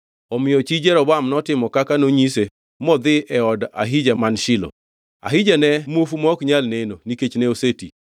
Omiyo chi Jeroboam notimo kaka nonyise modhi e od Ahija man Shilo. Ahija ne muofu ma ok nyal neno, nikech ne oseti.